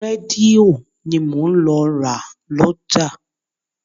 Rédíò ni mò ń lọ ra lọ́jà.